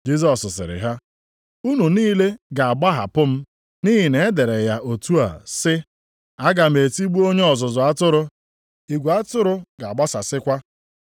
Jisọs sịrị ha, “Unu niile ga-agbahapụ m, nʼihi na e dere ya otu a sị, “ ‘Aga m etigbu onye ọzụzụ atụrụ, igwe atụrụ ga-agbasasịkwa.’ + 14:27 \+xt Zek 13:7\+xt*